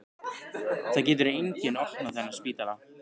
Það getur enginn opnað þennan spítala.